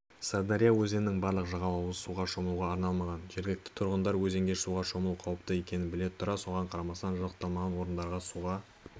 сырдария өзенінің барлық жағалауы суға шомылуға арналмаған жергілікті тұрғындар өзенге суға шомылу қауіпті екенін біле тұра соған қарамастан жабдықталмаған орындарда суға